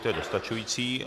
To je dostačující.